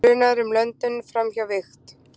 Grunaður um löndun framhjá vigt